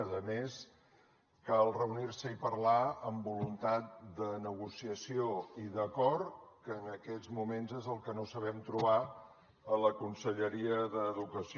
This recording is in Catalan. a més cal reunir se i parlar amb voluntat de negociació i d’acord que en aquests moments és el que no sabem trobar a la conselleria d’educació